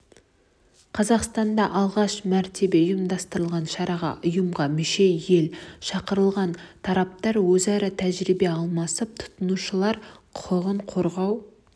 қазақстанда алғаш мәрте ұйымдастырылған шараға ұйымға мүше ел шақырылған тараптар өзара тәжірибе алмасып тұтынушылар құқығын қорғау